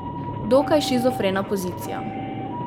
Dokaj shizofrena pozicija.